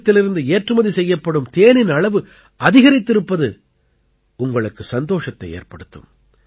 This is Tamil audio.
தேசத்திலிருந்து ஏற்றுமதி செய்யப்படும் தேனின் அளவு அதிகரித்திருப்பது உங்களுக்கு சந்தோஷத்தை ஏற்படுத்தும்